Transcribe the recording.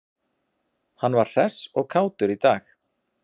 Hann var hress og kátur í dag.